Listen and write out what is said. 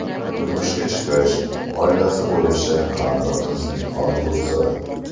Turmushga chiqish, oilasi bo‘lishi har bir qizning orzusi.